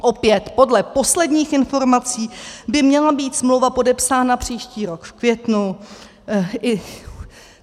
Opět, podle posledních informací, by měla být smlouva podepsána příští rok v květnu.